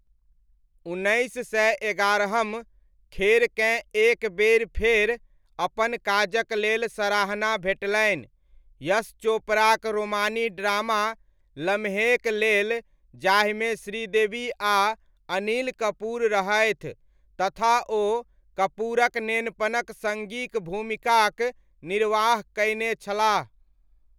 उन्नैस सय एगारहम खेरकेँ एक बेरि फेर अपन काजक लेल सराहना भेटलनि यश चोपड़ाक रोमानी ड्रामा लम्हेक लेल जाहिमे श्रीदेवी आ अनिल कपूर रहथि तथा ओ कपूरक नेनपनक सङ्गीक भूमिकाक निर्वाह कयने छलाह।